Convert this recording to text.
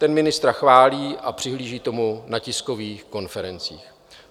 Ten ministra chválí a přihlíží tomu na tiskových konferencích.